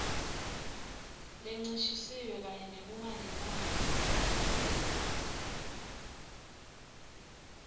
lencishisiwe kanye nekungalingani